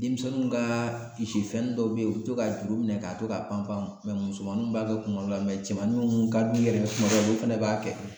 Denmisɛnninw kaa misi fɛnnin dɔw be yen u bi to ka juru minɛ ka to ka panpan musɛmaninw b'a kɛ kunkolo la cɛmanin mun ka d'u yɛrɛ ye kuma dɔw la, olu fɛnɛ b'a kɛ